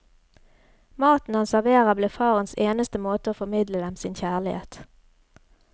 Maten han serverer blir farens eneste måte å formidle dem sin kjærlighet.